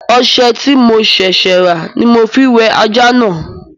Ọṣẹ tí mo ṣẹ̀ṣẹ̀ rà ní mo ma fi wẹ ajá náà